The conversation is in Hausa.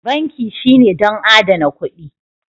Banki shine don adana kuɗi